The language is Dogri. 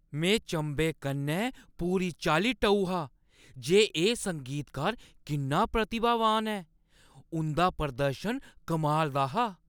में चंभे कन्नै पूरी चाल्ली टऊ हा जे एह् संगीतकार किन्ना प्रतिभावान ऐ। उंʼदा प्रदर्शन कमाल दा हा।